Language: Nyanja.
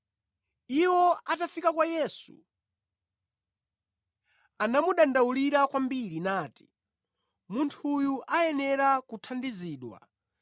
Iwo atafika kwa Yesu, anamudandaulira kwambiri, nati, “Munthuyu ayenera kuthandizidwa